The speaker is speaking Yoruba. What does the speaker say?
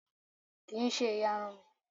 Kì ń ṣe ìyarun mi.